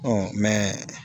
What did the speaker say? Ɔ mɛs